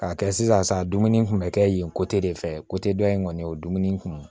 K'a kɛ sisan dumuni kun bɛ kɛ yen de fɛ dɔ in kɔni o ye dumuni kun